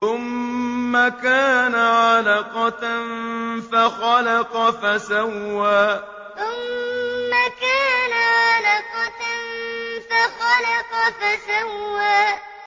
ثُمَّ كَانَ عَلَقَةً فَخَلَقَ فَسَوَّىٰ ثُمَّ كَانَ عَلَقَةً فَخَلَقَ فَسَوَّىٰ